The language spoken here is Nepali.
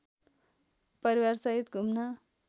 परिवारसहित घुम्न